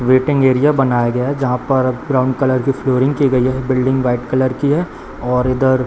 waiting area बनाया गया जहां पर ब्राउन कलर की फ्लोरिंग की गई है बिल्डिंग व्हाइट कलर की है और इधर --